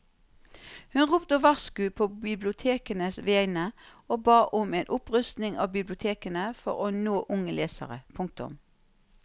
Hun ropte varsko på bibliotekenes vegne og ba om en opprustning av bibliotekene for å nå unge lesere. punktum